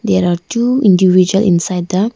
there are two individual inside the--